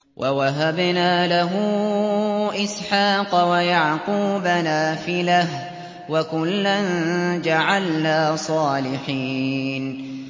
وَوَهَبْنَا لَهُ إِسْحَاقَ وَيَعْقُوبَ نَافِلَةً ۖ وَكُلًّا جَعَلْنَا صَالِحِينَ